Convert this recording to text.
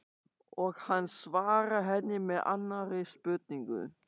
Og hann svarar henni með annarri spurningu